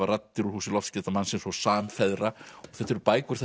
raddir úr húsi loftskeytamannsins og samfeðra og þetta eru bækur